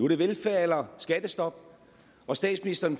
det velfærd eller skattestop og statsministeren